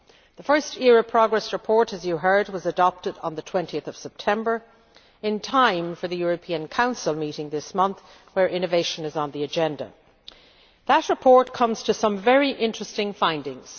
The first ERA progress report, as you heard, was adopted on 20 September in time for the European Council meeting this month where innovation is on the agenda. That report comes to some very interesting findings.